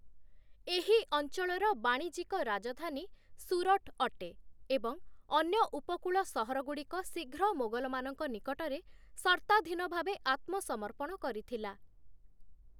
ଏହି ଅଞ୍ଚଳର ବାଣିଜ୍ୟିକ ରାଜଧାନୀ 'ସୁରଟ' ଅଟେ ଏବଂ ଅନ୍ୟ ଉପକୂଳ ସହରଗୁଡ଼ିକ ଶୀଘ୍ର ମୋଗଲମାନଙ୍କ ନିକଟରେ ସର୍ତ୍ତାଧୀନଭାବେ ଆତ୍ମସମର୍ପଣ କରିଥିଲା ।